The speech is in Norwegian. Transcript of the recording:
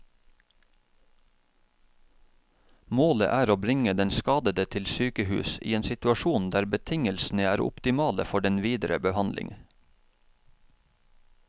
Målet er å bringe den skadede til sykehus i en situasjon der betingelsene er optimale for den videre behandling.